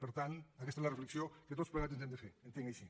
per tant aquesta és la reflexió que tots plegats ens hem de fer ho entenc així